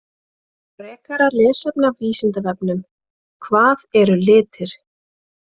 Frekara lesefni af Vísindavefnum: Hvað eru litir?